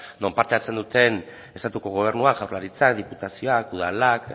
non parte hartzen duten estatuko gobernua jaurlaritzak diputazioak udalak